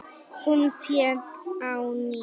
Hún féll á ný.